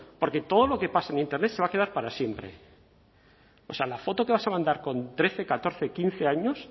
porque todo lo que pase en internet se va a quedar para siempre o sea la foto que vas a andar con trece catorce quince años